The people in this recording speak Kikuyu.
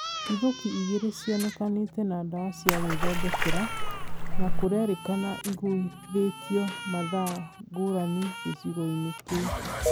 Nduthũki igĩrĩ nĩcionekanĩte na ndawa cia gwĩthondekera na kũrerĩkana igũithĩtio mathaa ngũrani gĩcigo-inĩ kĩu